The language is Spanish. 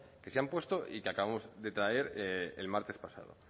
que se han puesto y que acabamos de traer el martes pasado